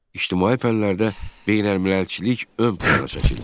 İctimai fənlərdə beynəlmiləlçilik ön plana çəkildi.